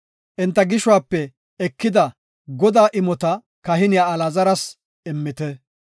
Enta gishuwape ekida Godaa imota kahiniya Alaazaras immite.